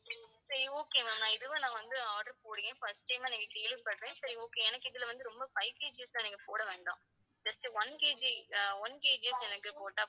சரி okay ma'am நான் இதுவே நான் வந்து order போடுறேன். first time ஆ நான் கேள்விப்படுறேன். சரி okay எனக்கு இதுல வந்து ரொம்ப five KG லாம் நீங்க போட வேண்டும். just oneKG, ஆஹ் one KG எனக்கு போட்டா